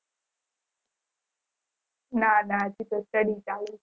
ના ના હજી તો study ચાલુ